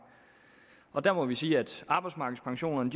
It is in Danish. og der må vi sige at arbejdsmarkedspensionerne